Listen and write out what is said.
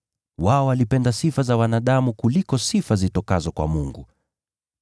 Wao walipenda sifa za wanadamu kuliko sifa zitokazo kwa Mungu.